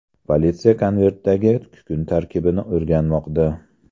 Politsiya konvertdagi kukun tarkibini o‘rganmoqda.